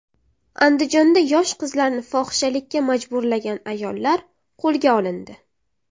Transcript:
Andijonda yosh qizlarni fohishalikka majburlagan ayollar qo‘lga olindi.